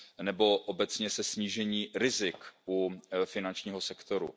nebo obecně se snížením rizik u finančního sektoru.